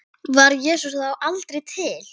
Var Jesús þá aldrei til?